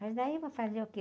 Mas daí eu vou fazer o quê?